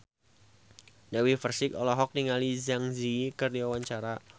Dewi Persik olohok ningali Zang Zi Yi keur diwawancara